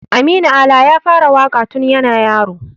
Aminu Ala ya fara waƙa tun yana yaro.